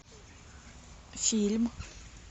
фильм